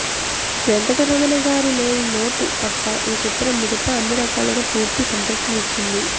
వెంకటరమణగారు లేని లోటు తప్ప ఈ చిత్రం మిగతా అన్ని రకాలుగా పూర్తి సంతృప్తినిచ్చింది